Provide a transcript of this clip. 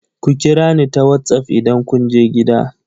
Ku kira ni ta wassaf idan kun je gida!